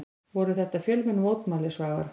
Voru þetta fjölmenn mótmæli Svavar?